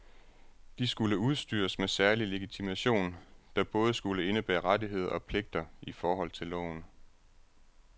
De skulle udstyres med særlig legitimation, der både skulle indebære rettigheder og pligter i forhold til loven.